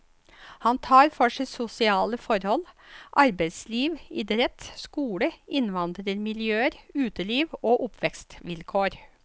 Han tar for seg sosiale forhold, arbeidsliv, idrett, skole, innvandrermiljøer, uteliv og oppvekstvilkår.